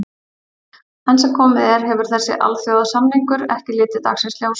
Enn sem komið er hefur þessi alþjóðasamningur ekki litið dagsins ljós.